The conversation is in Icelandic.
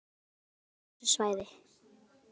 Það rennur af þessu svæði.